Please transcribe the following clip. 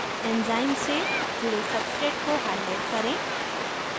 enzyme से जुड़े substrate को highlight करें